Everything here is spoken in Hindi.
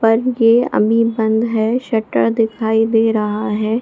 और ये अभी बंद है शटर दिखाई दे रहा है।